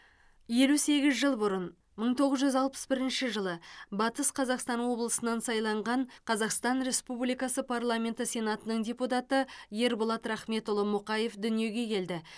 елу сегіз жыл бұрын мың тоғыз жүз алпыс бірінші батыс қазақстан облысынан сайланған қазақстан республикасы парламенті сенатының депутаты ерболат рахметұлы мұқаев дүниеге келді